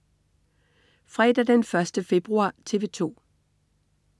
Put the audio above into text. Fredag den 1. februar - TV 2: